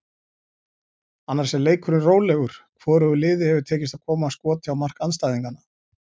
Annars er leikurinn rólegur, hvorugu liði hefur tekist að koma skoti á mark andstæðinganna.